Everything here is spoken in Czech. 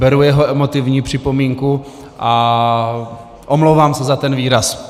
Beru jeho emotivní připomínku a omlouvám se za ten výraz.